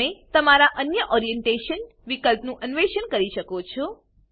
તમે તમારા અન્ય ઓરિએન્ટેશન વિકલ્પનું અન્વેષણ કરી શકો છો